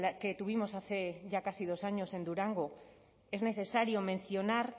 que tuvimos hace ya casi dos años en durango es necesario mencionar